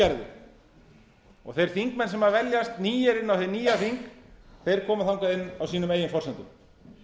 gerði og þeir þingmenn sem veljast nýir inn á hið nýja þing koma þangað inn á sínum eigin forsendum